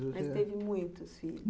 Ele teve muitos filhos.